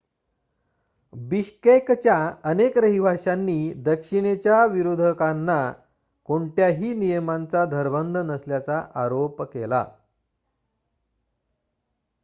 बिश्केकच्या अनेक रहिवाशांनी दक्षिणेच्या विरोधकांना कोणत्याही नियमांचा धरबंध नसल्याचा आरोप केला